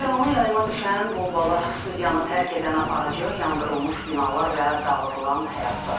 Canlı yayıma düşən bombalar, studiyanı tərk edən aparıcı, yandırılmış binalar və dağıdılan həyətlər.